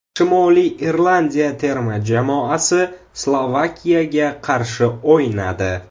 Shimoliy Irlandiya terma jamoasi Slovakiyaga qarshi o‘ynadi.